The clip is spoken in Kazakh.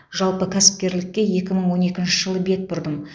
жалпы кәсіпкерлікке екі мың он екінші жылы бет бұрдым